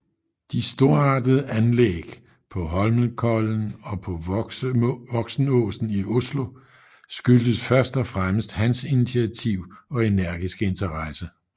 De storartede anlæg på Holmenkollen og på Voksenåsen i Oslo skyldtes først og fremmest hans initiativ og energiske interesse